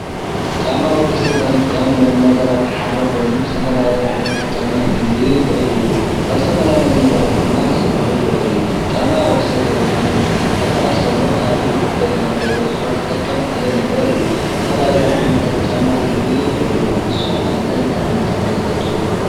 ጫማ ወዲ ሰብ ካብ ዝጥቀመሎም ነገራት ሓደ ኮይኑ ዝተፈላለዩ ዓይነታት ጫማ ክህልዩ ይኽእሉ እዮም። ካብ ዝተፈላለዩ ነገራት ድማ ክስርሑ ይኽእሉ እዮም። ጫማ ወዲ ሰብ ካብ ቦታ ናብ ቦታ ክንቀሳቐስ ተሎ ኣብ እግሩ ሓደጋ ንኸይበፅሖ ዝጠቅም ሓደ ነገር እዩ። ዝተፈላለዩ ዓይነታት ጫማ ክህልዩ ይኽእሉ እዮም። ንስኹም ኸ እንታይ እንታይ ዓይነት ጫማ ትፈልጡ?